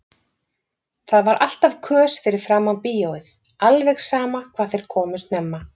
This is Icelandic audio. Það var alltaf kös fyrir framan bíóið, alveg sama hvað þeir komu snemma.